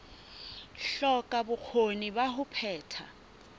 hloka bokgoni ba ho phetha